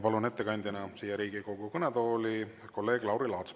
Palun ettekandeks siia Riigikogu kõnetooli kolleeg Lauri Laatsi.